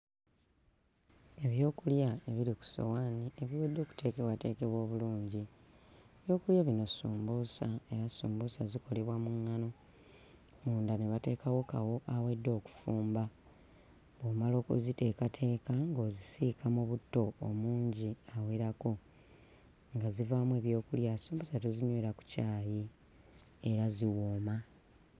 Ebyokulya ebiri ku ssowaani ebiwedde okuteekebwateekebwa obulungi. Ebyokulya bino ssumbuusa, era sumbuusa zikolebwa mu nngano munda ne bateekawo bateekawo kawo awedde okufumba. Bw'omala okukuziteekaaka ng'ozisiika mu butto omungi awereko. Nga zivaamu ebyokulya. Sumbuusa tuzinywera ku caayi era ziwooma.